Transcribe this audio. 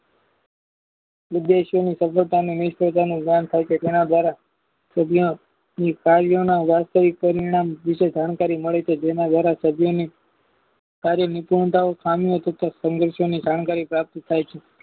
જ્ઞાન થાય છે તેના દ્વારા કાર્યોના વાસ્તવિક પરિણામ વિશે જાણકારી મળી છે જેના દ્વારા કાર્યની ચિંતાઓ સમય તથા સંગાથોની જાણકારી થાય છે